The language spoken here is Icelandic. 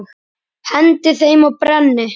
Hendi þeim og brenni.